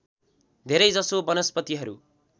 धेरै जसो वनस्पतिहरू